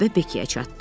Növbə Bekkiyə çatdı.